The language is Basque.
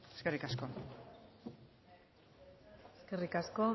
eskerrik asko eskerrik asko